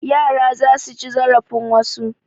Yara za su ci zarafin wasu.